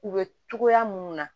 U bɛ togoya munnu na